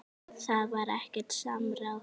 Það var ekkert samráð.